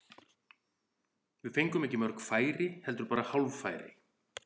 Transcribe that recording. Við fengum ekki mörg færi, heldur bara hálffæri.